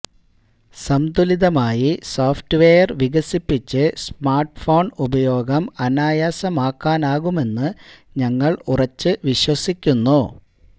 സംതുലിതമായി software വികസിപ്പിച്ച് smartphone ഉപയോഗം അനായാസമാക്കാനാകുമെന്ന് ഞങ്ങള് ഉറച്ച് വിശ്വസിക്കുന്നു